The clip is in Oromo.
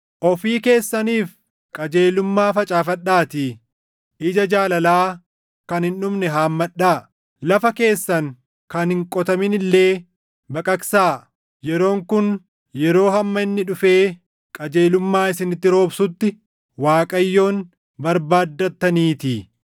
Ofii keessaniif qajeelummaa facaafadhaatii ija jaalalaa kan hin dhumne haammadhaa; lafa keessan kan hin qotamin illee baqaqsaa; yeroon kun yeroo hamma inni dhufee qajeelummaa isinitti roobsutti Waaqayyoon barbaaddataniitii.